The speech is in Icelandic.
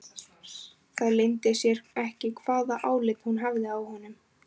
Það leyndi sér ekki hvaða álit hún hafði á honum.